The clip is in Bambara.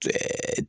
Ɛɛ